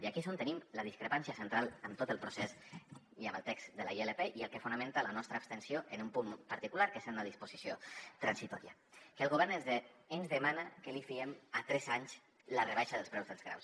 i aquí és on tenim la discrepància central amb tot el procés i amb el text de la ilp i el que fonamenta la nostra abstenció en un punt particular que és en la disposició transitòria que el govern ens demana que li fiem a tres anys la rebaixa dels preus dels graus